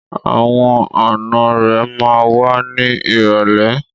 Àwọn ànọ́ rẹ̀ ma wá ní ìrọ̀lẹ́.